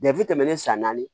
tɛmɛnen san naani